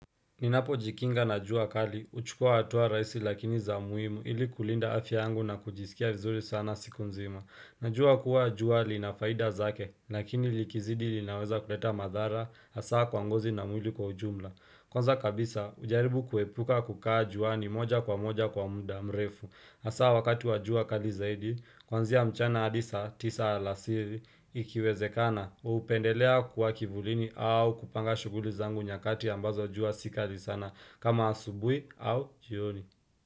Ninapojikinga na jua kali, huchukua hatua raisi lakini za muimu ili kulinda afya yangu na kujisikia vizuri sana siku nzima. Najua kuwa jua lina faida zake, lakini likizidi linaweza kuleta madhara, asaa kwa ngozi na mwili kwa ujumla. Kwanza kabisa, hujaribu kuepuka kukaa juani moja kwa moja kwa muda mrefu. Asa wakati wa jua kali zaidi, kuanzia mchana hadi saa tisa alasiri ikiwezekana, hupendelea kuwa kivulini au kupanga shuguli zangu nyakati ambazo jua si kali sana kama asubui au jioni.